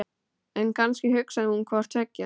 En kannski hugsaði hún hvort tveggja.